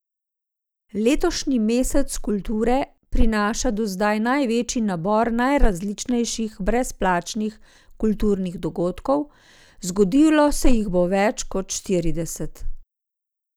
Letošnji mesec kulture prinaša do zdaj največji nabor najrazličnejših brezplačnih kulturnih dogodkov, zgodilo se jih bo več kot štirideset.